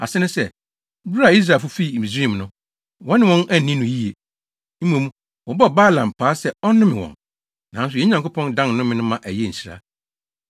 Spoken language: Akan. Ase ne sɛ, bere a Israelfo fii Misraim no, wɔne wɔn anni no yiye. Mmom, wɔbɔɔ Balaam paa sɛ ɔnnome wɔn, nanso yɛn Nyankopɔn dan nnome no ma ɛyɛɛ nhyira.